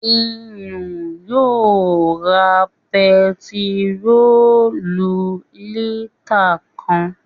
Ìyìn yóò ra bentiróòlù lítà kan